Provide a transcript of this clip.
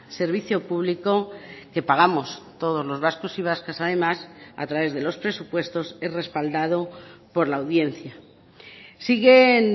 servicio público que pagamos todos los vascos y vascas además a través de los presupuestos es respaldado por la audiencia siguen